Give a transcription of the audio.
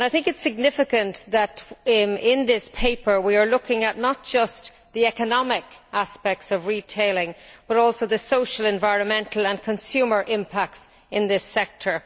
I think it significant that in this paper, we are looking at not just the economic aspects of retailing but also the social, environmental and consumer impacts in this sector.